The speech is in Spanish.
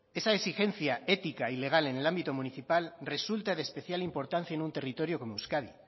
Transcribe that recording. esa exigencia ética y legal en el ámbito municipal resulta de especial importancia en un territorio como euskadi